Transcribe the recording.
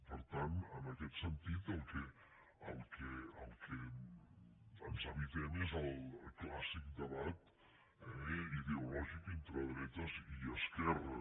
per tant en aquest sentit el que ens evitem és el clàssic debat ideològic entre dretes i esquerres